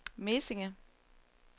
Mesinge